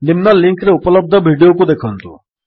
ନିମ୍ନ ଲିଙ୍କ୍ ରେ ଉପଲବ୍ଧ ଭିଡିଓକୁ ଦେଖନ୍ତୁ